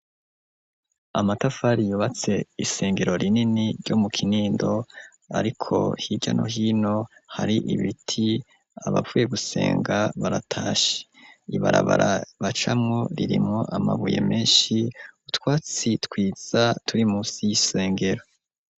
Amatafari yubatse isengero rinini ryo mu Kinindo ariko hirya no hino hari ibiti .Abavuye gusenga baratash ibarabarabaca mu ririmu amabuye menshi utwatsi twiza turi munsi y'isengero.